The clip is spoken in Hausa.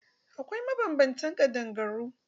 Akwai mabanbantan ƙadangaru.